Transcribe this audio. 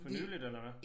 For nyligt eller hvad